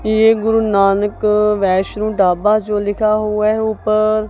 ये गुरुनानक वैष्णो ढाबा जो लिखा हुआ है ऊपर।